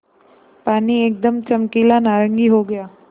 पानी एकदम चमकीला नारंगी हो गया